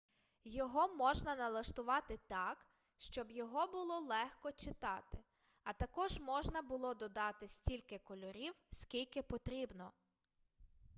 його можна налаштувати так щоб його було легко читати а також можна було додати стільки кольорів скільки потрібно